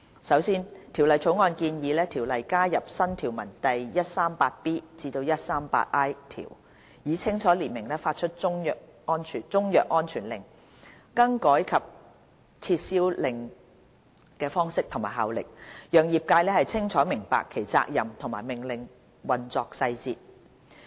首先，《條例草案》建議《條例》加入新條文第 138B 至 138I 條，以清楚列明發出中藥安全令、更改令及撤銷令的方式和效力，讓業界清楚明白其責任和命令的運作細節。